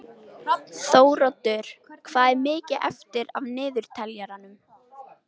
Þóroddur, hvað er mikið eftir af niðurteljaranum?